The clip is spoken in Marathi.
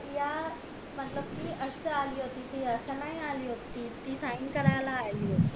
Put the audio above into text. या मतलब कि असं अली होती ती असं नाय अली होती कि ती sign करायला अली होती